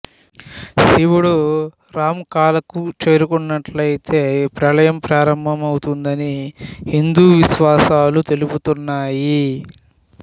శివుడు రాంకాలకు చేరుకున్నట్లయితే ప్రళయం ప్రారంభమవుతుందని హిందూ విశ్వాసాలు తెలుపుతున్నాయి